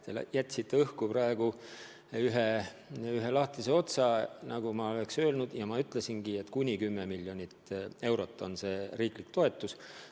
Te jätsite praegu õhku ühe lahtise otsa: ma nagu oleks öelnud – ja ma ütlesingi –, et kuni 10 miljonit eurot on riiklik toetus.